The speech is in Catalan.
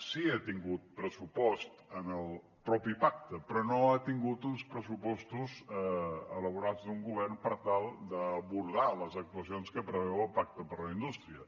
sí que ha tingut pressupost en el mateix pacte però no ha tingut uns pressupostos elaborats d’un govern per tal d’abordar les actuacions que preveu el pacte per a la indústria